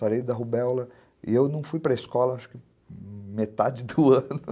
Sarei da rubéola, e eu não fui para a escola, acho que metade do ano.